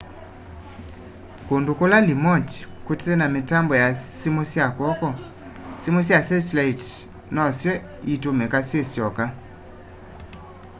kũndũ kũla limoti kũtena mitambo ya sĩmũ sya kwoko sĩmũ sya setilaiti nosyo itumika syisyoka